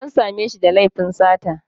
E, an sa me shi da laifin sata